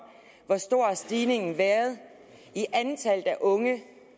hvor stor stigningen har været i antallet af unge